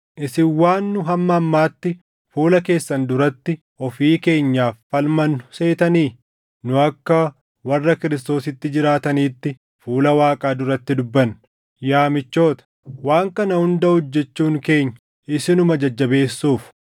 Isin waan nu hamma ammaatti fuula keessan duratti ofii keenyaaf falmannu seetanii? Nu akka warra Kiristoositti jiraataniitti fuula Waaqaa duratti dubbanna; yaa michoota, waan kana hunda hojjechuun keenya isinuma jajjabeessuuf.